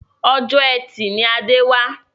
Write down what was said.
Ọjọ́ etì ni Adé wà